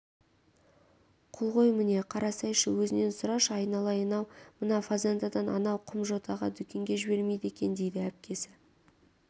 құл ғой міне қарасайшы өзінен сұрашы айналайын-ау мына фазендадан анау құмжотаға дүкенге жібермейді екен дейді әпкесі